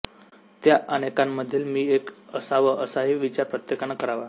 त्या अनेकांमधील मी एक असावं असाही विचार प्रत्येकानं करावा